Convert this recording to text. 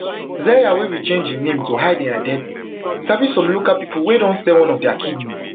zeya wey we change im name to hide im identity sabi some local pipo wey don sell one of dia kidneys